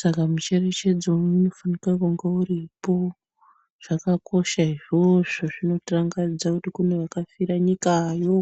saka mucherechedzo unofanira kunge uripo zvakakosha izvozvo zvinotirangaridza kuti pane akafira nyikayo .